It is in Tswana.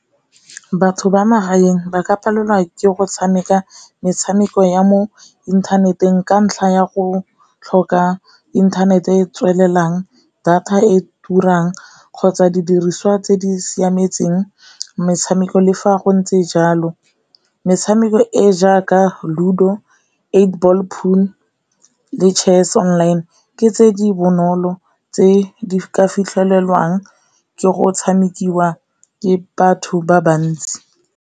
Batho ba magaeng ba ka palelwa ke go tshameka metshameko ya mo inthaneteng ka ntlha ya go tlhoka inthanete e e tswelelang, data e turang, kgotsa didiriswa tse di siametseng metshameko, le fa go ntse jalo. Metshameko e jaaka Ludo, eight ball pool le Chess online ke tse di bonolo tse di ka fitlhelwang ke go tshamekiwa ke batho ba bantsi.